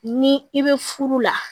Ni i be furu la